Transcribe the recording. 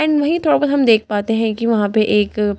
and वही थोड़ा बहुत हम देख पाते हैं कि वहां पे एक--